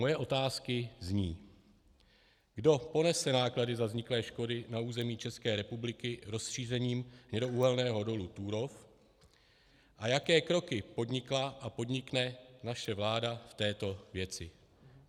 Moje otázky zní, kdo ponese náklady za vzniklé škody na území České republiky rozšířením hnědouhelného dolu Turów a jaké kroky podnikla a podnikne naše vláda v této věci.